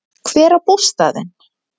Hver á bústaðinn?